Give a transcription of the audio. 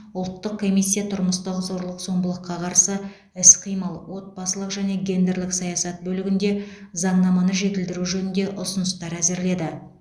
ұлттық комиссия тұрмыстық зорлық зомбылыққа қарсы іс қимыл отбасылық және гендерлік саясат бөлігінде заңнаманы жетілдіру жөнінде ұсыныстар әзірледі